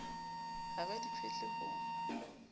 ha ba di phetle ho